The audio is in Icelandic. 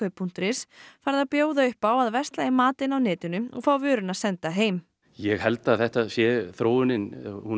punktur is farið að bjóða upp á að versla í matinn á netinu og fá vöruna senda heim ég held að þetta sé þróunin